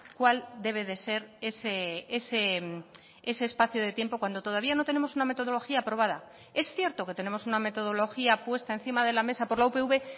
cuál debe de ser ese espacio de tiempo cuando todavía no tenemos una metodología aprobada es cierto que tenemos una metodología puesta encima de la mesa por la upv